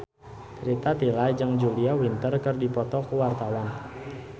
Rita Tila jeung Julia Winter keur dipoto ku wartawan